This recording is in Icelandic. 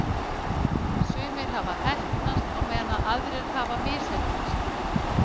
Sumir hafa heppnast, á meðan aðrir hafa misheppnast.